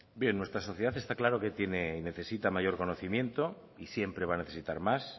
bien nuestra sociedad está claro que tiene y necesita mayor conocimiento y siempre va a necesitar más